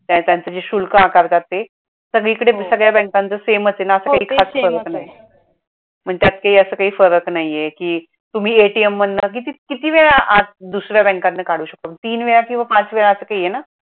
बँकांच जे शुल्क आकारतात ते सगळीकडे सगळ्या बँकांच same च आहे ना अस काही खास पण त्यात काही अस काही फरक नाही आहे कि तुम्ही ATM मधनं किती किती वेळा दुसऱ्या बँकातन काढू शकतो तीन वेळा किंवा पाच वेळा असं काही आहे न!